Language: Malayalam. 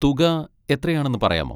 തുക എത്രയാണെന്ന് പറയാമോ?